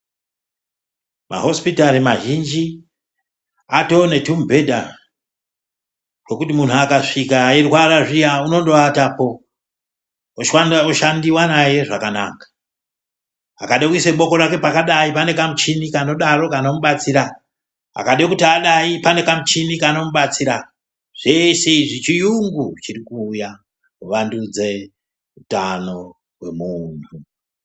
Mahosipitari mazhinji atone tumubhedha twokuti munhu akasvika eirwara zviya unondoatapo oshandiwa naye zvakanaka. Akade kuisa boko pane kamuchini kanodaro kanomubatsira, akade kuti adai pane kamuchini kanomubatsira. Zvese izvi chiyungu chirikuuya kuwandudze utano hwemunhu.